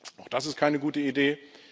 Auch das ist keine gute Idee.